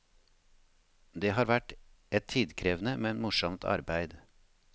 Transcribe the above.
Det har vært et tidkrevende, men morsomt arbeid.